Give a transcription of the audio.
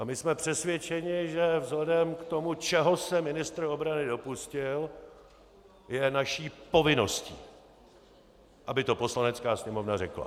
A my jsme přesvědčení, že vzhledem k tomu, čeho se ministr obrany dopustil, je naší povinností, aby to Poslanecká sněmovna řekla.